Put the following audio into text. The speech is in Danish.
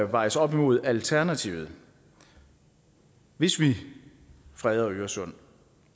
vejes op imod alternativet hvis vi freder øresund